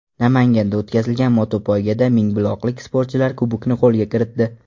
Namanganda o‘tkazilgan motopoygada mingbuloqlik sportchilar kubokni qo‘lga kiritdi .